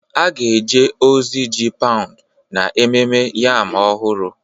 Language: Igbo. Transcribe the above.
A ga-eje ozi ji paụnd na Ememme Yam Ọhụrụ